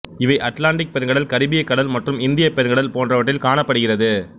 இவை அட்லாண்டி பெருங்கடல் கரிபியக் கடல் மற்றும் இந்தியப் பெருங்கடல் போன்றவற்றில் காணப்படுகிறது